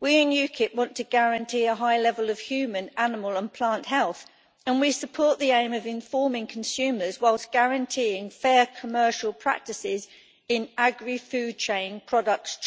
We in UKIP want to guarantee a high level of human, animal and plant health and we support the aim of informing consumers whilst guaranteeing fair commercial practices in the trade of agri food products.